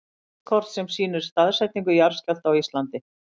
Yfirlitskort sem sýnir staðsetningu jarðskjálfta á Íslandi.